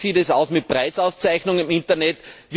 Wie sieht es aus mit Preisauszeichnungen im Internet?